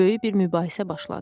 Böyük bir mübahisə başladı.